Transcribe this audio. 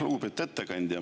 Lugupeetud ettekandja!